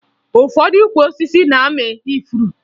Ụfọdụ ukwu osisi na-amị ifuru